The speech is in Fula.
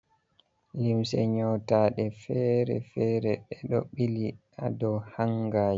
Limse nƴotaaɗe feere-feere, ɓe ɗo ɓili haa dow hanga.